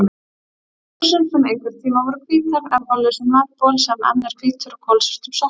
buxum sem einhverntíma voru hvítar, ermalausum nærbol sem enn er hvítur og kolsvörtum sokkum.